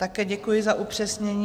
Také děkuji za upřesnění.